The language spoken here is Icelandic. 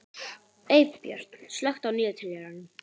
Eybjört, slökktu á niðurteljaranum.